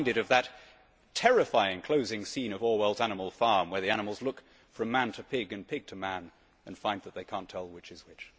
I am reminded of that terrifying closing scene of Orwell's Animal Farm' where the animals look from man to pig and pig to man and find that they cannot tell which is which.